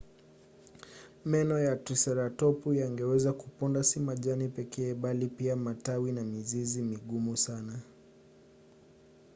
meno ya triseratopu yangeweza kuponda si majani pekee bali pia matawi na mizizi migumu sana